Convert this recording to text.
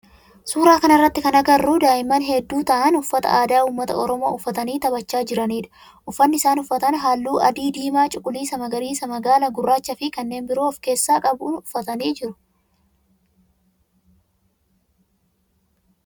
Suuraa kana irratti kan agarru daa'imman heddu ta'aan uffata aadaa ummata oromoo uffatanii taphachaa jiranidha. Uffanni isaan uffatan halluu adii, diimaa, cuquliisa, magariisa, magaala, gurraacha fi kanneen biroo of keessaa qabu uffatanii jiru.